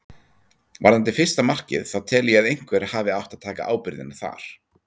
Varðandi fyrsta markið þá tel ég að einhver hafi átt að taka ábyrgðina þar.